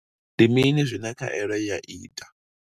Ndi mini zwine khaelo ya ita?